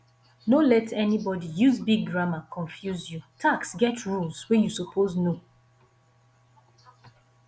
no let anybody use big grammar confuse you tax get rules wey you suppose know